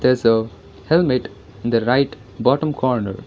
there is a helmet in the right bottom corner.